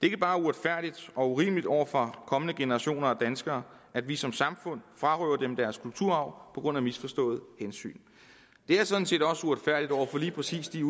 ikke bare uretfærdigt og urimeligt over for kommende generationer af danskere at vi som samfund frarøver dem deres kulturarv på grund af misforstået hensyn det er sådan set også uretfærdigt over for lige præcis de